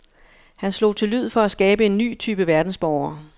Han slog til lyd for at skabe en ny type verdensborger.